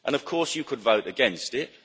Of course, you could vote against it.